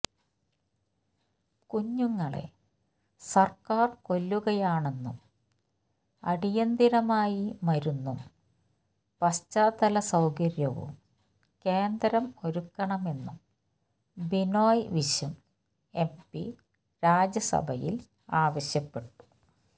കുഞ്ഞുങ്ങളെ സർക്കാർ കൊല്ലുകയാണെന്നും അടിയന്തരമായി മരുന്നും പശ്ചാത്തല സൌകര്യവും കേന്ദ്രം ഒരുക്കണമെന്നും ബിനോയ് വിശ്വം എം പി രാജ്യസഭയിൽ ആവശ്യപ്പെട്ടു